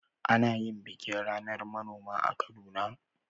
Ana yin bikin ranar manoma a Kaduna.